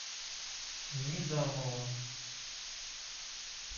низамова